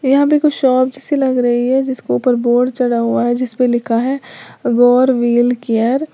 यहां पे कुछ शॉप जैसी लग रही है जिसके ऊपर बोर्ड चढ़ा हुआ है जिस पे लिखा है गौर व्हील केयर ।